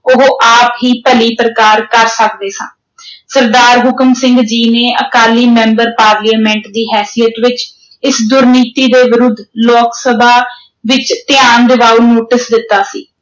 ਉਹ ਆਪ ਹੀ ਭਲੀ ਪ੍ਰਕਾਰ ਕਰ ਸਕਦੇ ਹਾਂ ਸਰਦਾਰ ਹੁਕਮ ਸਿੰਘ ਜੀ ਨੇ ਅਕਾਲੀ ਮੈਂਬਰ ਪਾਰਲੀਮੈਂਟ ਦੀ ਹੈਸੀਅਤ ਵਿੱਚ ਇਸ ਦੁਰਨੀਤੀ ਦੇ ਵਿਰੁੱਧ ਲੋਕ ਸਭਾ ਵਿੱਚ ਧਿਆਨ ਦਿਵਾਊ ਨੋਟਿਸ ਦਿੱਤਾ ਸੀ।